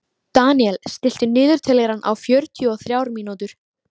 Deníel, stilltu niðurteljara á fjörutíu og þrjár mínútur.